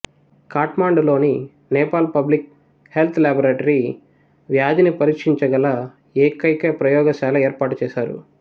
ఖాట్మండులోని Nepal public health laboratory వ్యాధిని పరీక్షించగల ఏకైక ప్రయోగశాల ఏర్పాటు చేశారు